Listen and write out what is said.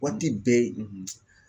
Waati bɛɛ